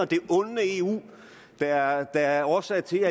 det onde eu der er årsagen til